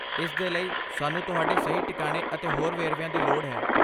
ਇਸ ਦੇ ਲਈ, ਸਾਨੂੰ ਤੁਹਾਡੇ ਸਹੀ ਟਿਕਾਣੇ ਅਤੇ ਹੋਰ ਵੇਰਵਿਆਂ ਦੀ ਲੋੜ ਹੈ।